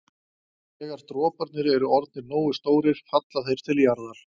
Þegar droparnir eru orðnir nógu stórir falla þeir til jarðar.